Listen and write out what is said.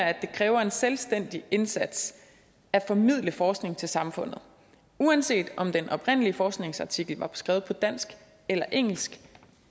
at det kræver en selvstændig indsats at formidle forskning til samfundet uanset om den oprindelige forskningsartikel var skrevet på dansk eller engelsk